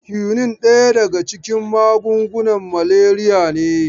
Kyunin daya daga cikin magungunan maleriyar ne.